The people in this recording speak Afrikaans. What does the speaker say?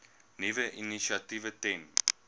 nuwe initiatiewe ten